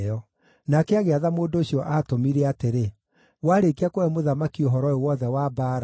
Nake agĩatha mũndũ ũcio aatũmire atĩrĩ: “Warĩkia kũhe mũthamaki ũhoro ũyũ wothe wa mbaara,